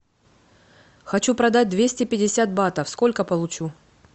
хочу продать двести пятьдесят батов сколько получу